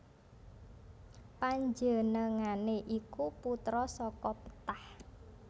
Panjenengané iku putra saka Ptah